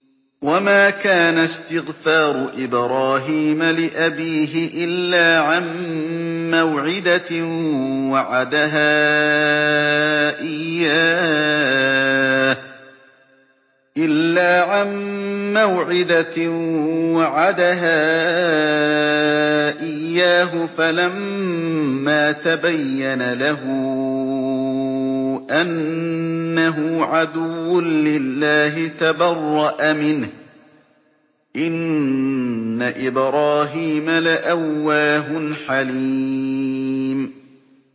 وَمَا كَانَ اسْتِغْفَارُ إِبْرَاهِيمَ لِأَبِيهِ إِلَّا عَن مَّوْعِدَةٍ وَعَدَهَا إِيَّاهُ فَلَمَّا تَبَيَّنَ لَهُ أَنَّهُ عَدُوٌّ لِّلَّهِ تَبَرَّأَ مِنْهُ ۚ إِنَّ إِبْرَاهِيمَ لَأَوَّاهٌ حَلِيمٌ